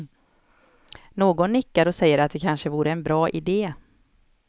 Någon nickar och säger att det kanske vore en bra ide.